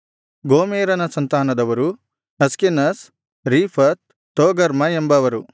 ಗೋಮೆರನ ಸಂತಾನದವರು Ashkenaz Riphath Togarmah ಎಂಬವರು